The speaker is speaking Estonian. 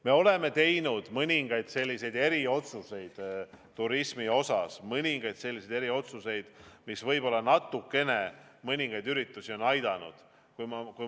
Me oleme teinud mõningaid eriotsuseid turismi osas, mõningaid selliseid eriotsuseid, mis võib-olla natukene mõningaid üritusi on aidanud.